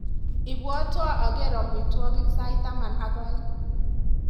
Ibwatwa aker amigwogik sait taman ak aeng.